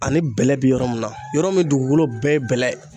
Ani bɛlɛ be yɔrɔ min na, yɔrɔ mun dugukolo bɛɛ ye bɛlɛ ye.